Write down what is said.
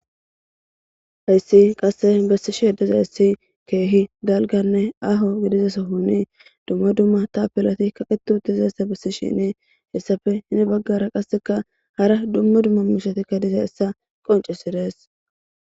Hayssi qasse bessi sheeddezayssi keehi galganne aho gidizasa huni dumma dumma ta pilati kaqetuti zeyssa bessi shini hessafe hini baggara qasseka hara dumma dumma mishatikka diza essa qoncisirees.